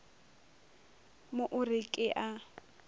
mo o re ke a